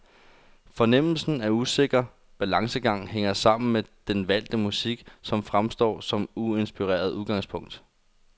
Fornemmelsen af usikker balancegang hænger sammen med den valgte musik, som fremstår som uinspirerende udgangspunkt.